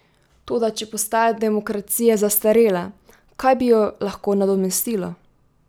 Toda, če postaja demokracija zastarela, kaj bi jo lahko nadomestilo?